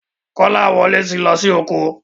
Kolawole tí lọ sì oko.